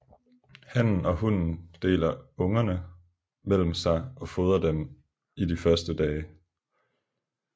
Hannen og hunnen deler ungerne mellem sig og fodrer dem i de første dage